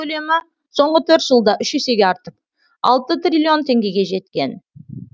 көлемі соңғы төрт жылда үш есеге артып алты триллион теңгеге жеткен